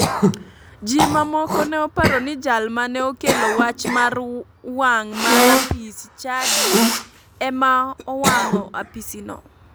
Ji ma moko ne oparo ni jal mane okelo wach mar wang' mar apis chadi ema owang'o apisino